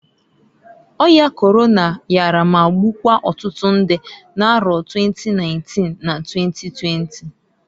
Oya Korona yara ma gbukwuo otutu ndị n'arọ 2019 na 2020.